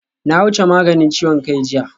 Na wuce maganin ciwon kai jiya